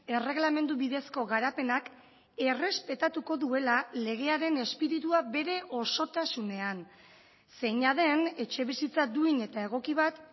erreglamendu bidezko garapenak errespetatuko duela legearen espiritua bere osotasunean zeina den etxebizitza duin eta egoki bat